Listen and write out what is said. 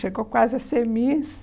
Chegou quase a ser miss.